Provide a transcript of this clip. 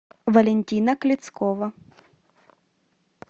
валентина клецкова